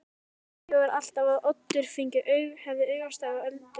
Annars sagði Friðþjófur alltaf að Oddur hefði augastað á Öldu.